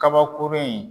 Kabakurun in